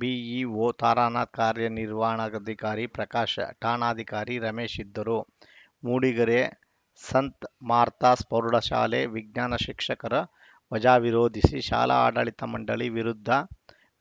BEO Taranath ಕಾರ್ಯನಿರ್ವಹಣಾಧಿಕಾರಿ ಪ್ರಕಾಶ್‌ ಠಾಣಾಧಿಕಾರಿ ರಮೇಶ್‌ ಇದ್ದರು ಮೂಡಿಗೆರೆ ಸಂತ ಮಾರ್ಥಾಸ್‌ ಪ್ರೌಢ ಶಾಲೆ ವಿಜ್ಞಾನ ಶಿಕ್ಷಕರ ವಜಾ ವಿರೋಧಿಸಿ ಶಾಲಾ ಆಡಳಿತ ಮಂಡಳಿ ವಿರುದ್ಧ